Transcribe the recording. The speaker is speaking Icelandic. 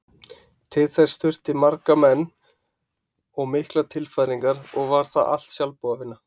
Til þess þurfti marga menn og miklar tilfæringar og var það allt sjálfboðavinna.